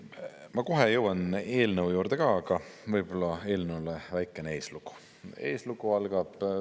Ma kohe jõuan eelnõu juurde ka, aga võib-olla eelnõule väikene eeslugu.